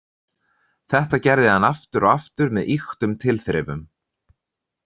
Þetta gerði hann aftur og aftur með ýktum tilþrifum.